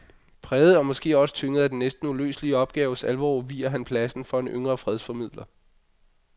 Præget og måske også tynget af den næsten uløselige opgaves alvor viger han pladsen for en yngre fredsformidler.